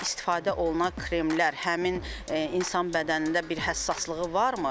İstifadə olunan kremlər həmin insan bədənində bir həssaslığı varmı?